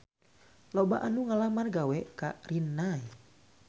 Loba anu ngalamar gawe ka Rinnai